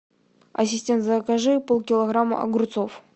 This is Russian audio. ассистент закажи полкилограмма огурцов